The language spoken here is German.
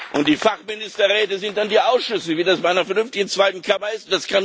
Und die Fachministerräte sind dann die Ausschüsse, wie das bei einer vernünftigen zweiten Kammer ist.